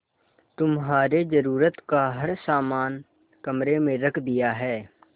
तुम्हारे जरूरत का हर समान कमरे में रख दिया है